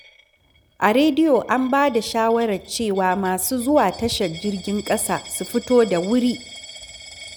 A rediyo an ba da shawarar cewa masu zuwa tashar jirgin ƙasa su fito da wuri.